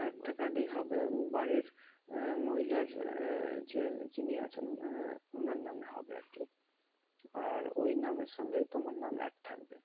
একটা card এই হবে বাড়ির আহ মহিলার আহ যে যিনি আছেন আহ ওনার নামে হবে আরকি। আর ওই নামের সঙ্গেই তোমার নাম add থাকবে।